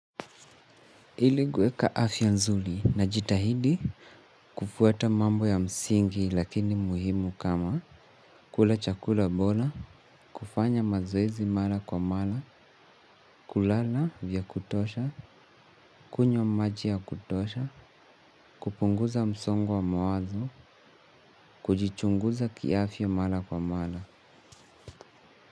Ili kuweka afya nzuri najitahidi kufuata mambo ya msingi lakini muhimu kama kula chakula bora, kufanya mazoezi mara kwa mara, kulala vya kutosha, kunywa maji ya kutosha, kupunguza msongo wa mawazo, kujichunguza kiafya mara kwa mara.